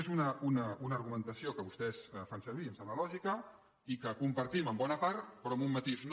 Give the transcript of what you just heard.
és una argumentació que vostès fan servir i em sembla lògica i que compartim en bona part però en un matís no